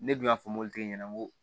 Ne dun y'a fɔ mobilitigi ɲɛna n ko